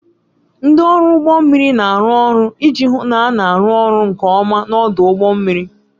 Ndị ọrụ ụgbọ mmiri na-arụ ọrụ iji hụ na a na-arụ ọrụ nke ọma n'ọdụ ụgbọ mmiri.